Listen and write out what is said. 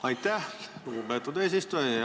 Aitäh, lugupeetud eesistuja!